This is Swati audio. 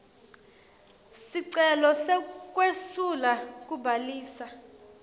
sicelo sekwesula kubhalisa